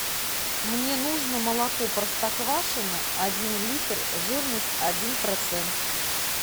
мне нужно молоко простоквашино один литр жирность один процент